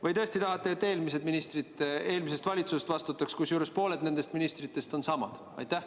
Või te tõesti tahate, et eelmised ministrid eelmisest valitsusest vastutaks, kusjuures pooled nendest ministritest on samad?